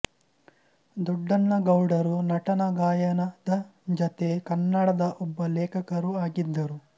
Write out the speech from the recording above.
ದೊಡ್ಡನಗೌಡರು ನಟನೆ ಗಾಯನದ ಜತೆ ಕನ್ನಡದ ಒಬ್ಬ ಲೇಖಕರೂ ಆಗಿದ್ದರು